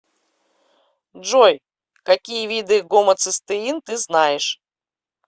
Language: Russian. джой какие виды гомоцистеин ты знаешь